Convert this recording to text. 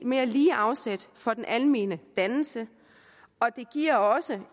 mere lige afsæt for den almene dannelse og det giver også